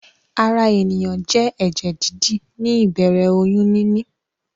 Ara ènìyàn jẹ́ ẹ̀jẹ̀-dídì ní ìbẹ̀rẹ̀ oyún níní.